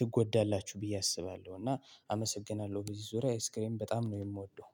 ትጎዳላችሁ ብዬ አስባለሁ። እና አመሰግናለሁ በዚህ ዙሪያ አይስክሬም በጣም ነው የምወደው